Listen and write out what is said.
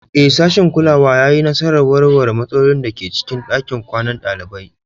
Ee, sashin kulawa ya yi nasarar warware matsalolin da ke cikin ɗakin kwanan ɗalibai.